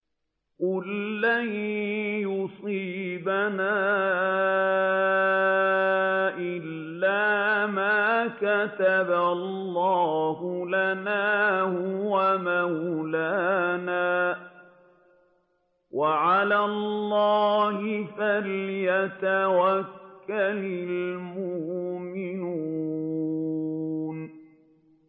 قُل لَّن يُصِيبَنَا إِلَّا مَا كَتَبَ اللَّهُ لَنَا هُوَ مَوْلَانَا ۚ وَعَلَى اللَّهِ فَلْيَتَوَكَّلِ الْمُؤْمِنُونَ